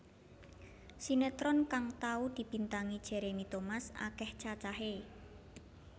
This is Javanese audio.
Sinétron kang tau dibintangi Jeremy Thomas akèh cacahé